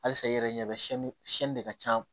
Halisa i yɛrɛ ɲɛ bɛ de ka ca